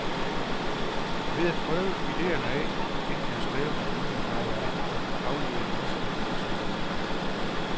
Ved at prøve idéerne af, inden jeg har skrevet en linie, har jeg kunnet aflive masser af mislykkede projekter.